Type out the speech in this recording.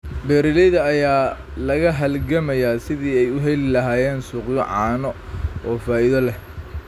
Beeralayda ayaa la halgamaya sidii ay u heli lahaayeen suuqyo caano oo faa'iido leh.